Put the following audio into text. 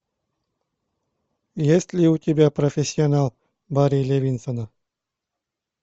есть ли у тебя профессионал барри левинсона